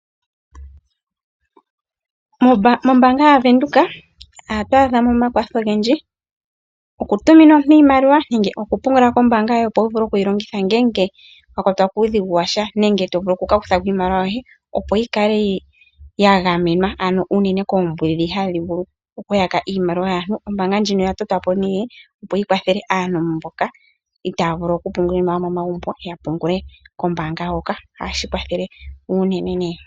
Mombaanga yaVenduka ohatu adhamo omakwatho ogendji, okutumina omuntu iimaliwa nenge okutumina kombaanga yoye opo wuvule okuyi longitha ngele wakwatwa kuudhigu watya nenge tovulu okukakuthako iimaliwa yohe, opo yikale yagamenwa ano unene koombudhi hadhi vulu okuyaka iimaliwa yaantu. Ombaanga ndjino oya totwapo nee, opo yikwathele aantu mboka itaya vulu okupungula iimaliwa momagumbo yapungule kombaanga hoka. Ohashi kwathele uunene.